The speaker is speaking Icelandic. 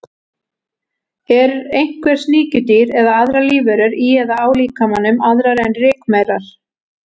Eru einhver sníkjudýr eða aðrar lífverur í eða á líkamanum, aðrar en rykmaurar?